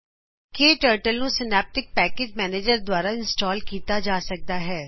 ਕੇ turtle ਨੂੰ synaptic package manager ਦਵਾਰਾ install ਕਿਤਾ ਜਾ ਸਕਦਾ ਹੈ